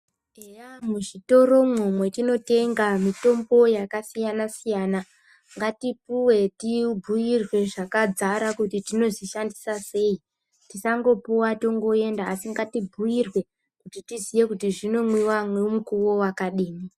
Eya muzvitoromwo mwetinotenga mitombo yakasiyana siyana ngatipuwe tibhuirwe zvakadzara kuti tinozvishandisa sei tisangopuwa tongoenda asi ngatibhuirwe kuti tiziye kuti zvinomwiwa nemukuwo wakadini.